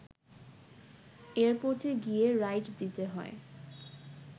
এয়ারপোর্টে গিয়ে রাইড দিতে হয়